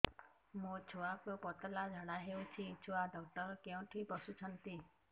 ମୋ ଛୁଆକୁ ପତଳା ଝାଡ଼ା ହେଉଛି ଛୁଆ ଡକ୍ଟର କେଉଁଠି ବସୁଛନ୍ତି